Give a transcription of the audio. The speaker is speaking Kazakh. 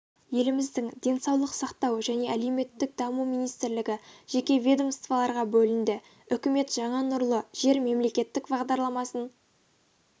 еліміздің денсаулық сақтау және әлеуметтік даму министрлігі жеке ведомстволарға бөлінді үкімет жаңа нұрлы жер мемлекеттік бағдарламасын